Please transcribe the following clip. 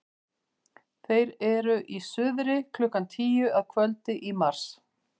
þeir eru í suðri klukkan tíu að kvöldi í mars